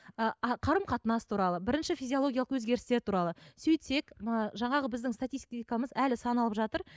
ыыы қарым қатынас туралы бірінші физиологиялық өзгерістер туралы сөйтсек ы жаңағы біздің статистикамыз әлі саналып жатыр